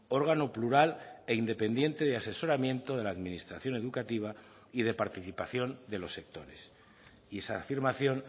órgano plural e independiente de asesoramiento de la administración educativa y de participación de los sectores y esa afirmación